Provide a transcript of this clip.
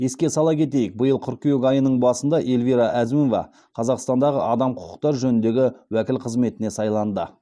еске сала кетейік биыл қыркүйек айының басында эльвира әзімова қазақстандағы адам құқықтары жөніндегі уәкіл қызметіне сайланды